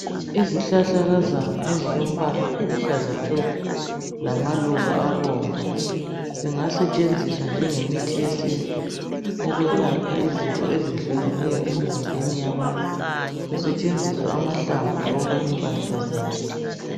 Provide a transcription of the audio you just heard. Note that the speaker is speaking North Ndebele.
Izihlahlakazana ezilombala oluhlaza tshoko, lamaluba abomvu, zingasetshenziswa njenge mithi yesintu ukwelapha izifo ezehlukeneyo emzimbeni yabantu, kusetshenziswa amahlamvu loba impade zaso.